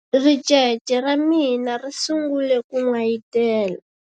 ricece ra mina ri sungule ku n'wayitela